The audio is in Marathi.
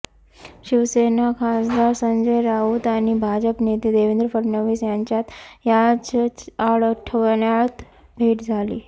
शिवसेना खासदार संजय राऊत आणि भाजप नेते देवेंद्र फडणवीस यांच्यात याच आठवड्यात भेट झाली